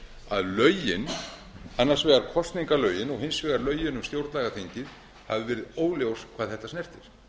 að lögin annars vegar kosningalögin og hins vegar lögin um stjórnlagaþingið hafa verið óljós hvað þetta snertir